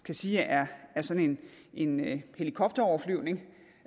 kan sige er sådan en en helikopteroverflyvning